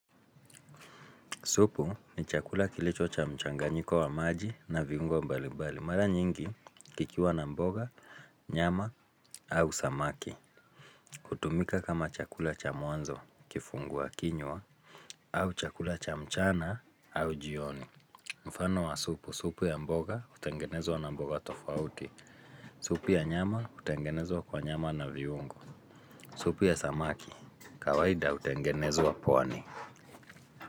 Supu ni chakula kilicho cha mchanganyiko wa maji na viungo mbali mbali. Mara nyingi kikiwa na mboga, nyama au samaki. Hutumika kama chakula cha mwanzo kifungua kinywa au chakula cha mchana au jioni. Mfano wa supu, supu ya mboga hutengenezwa na mboga tofauti. Supu ya nyama hutengenezwa kwa nyama na viungo. Supu ya samaki, kawaida hutengenezwa pwani.